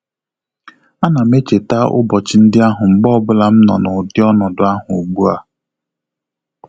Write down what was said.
A nam echeta ụbọchị ndị ahụ mgbe ọbụla m nọ na ụdị ọnọdụ ahu ugbua